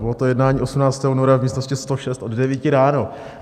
Bylo to jednání 18. února v místnosti 106 od 9 ráno.